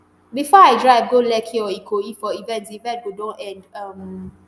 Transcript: before i drive go lekki or ikoyi for event di event go don end um